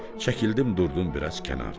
Çəkildim durdum biraz kənardan.